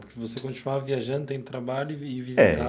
Porque você continuava viajando, tendo trabalho e ir